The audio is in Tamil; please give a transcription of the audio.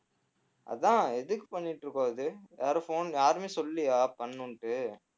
அதான் எதுக்கு பண்ணிட்டிருக்கோம் இது யாரும் phone யாருமே சொல்லலையா பண்ணணுன்ட்டு